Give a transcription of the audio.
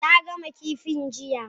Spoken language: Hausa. Ta gama kifin jiya?